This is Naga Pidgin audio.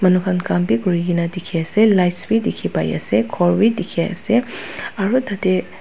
manu khan kam vi kura laga dekhi ase lights vi dekhi ase ghor vi dekhi ase aru tatey.